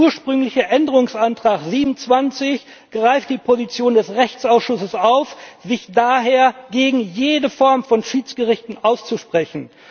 Der ursprüngliche Änderungsantrag 27 greift die Position des Rechtsausschusses auf, sich daher gegen jede Form von Schiedsgerichten auszusprechen.